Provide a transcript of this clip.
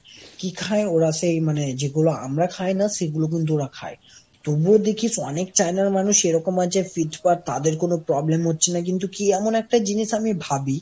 কি খায় ওরা সেই মানে যেগুলো আমরা খাইনা সেগুলো কিন্তু ওরা খায়। তবুও দেখিস অনেক China র মানুষ এরকম আছে fit fat তাদের কোন problem হচ্ছে না কিন্তু কি এমন একটা জিনিস আমি ভাবি,